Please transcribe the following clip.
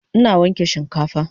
Ina wanke shinkafan